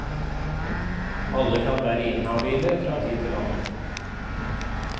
Alle kan være inhabile fra tid til annen.